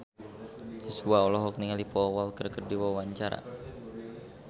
Joshua olohok ningali Paul Walker keur diwawancara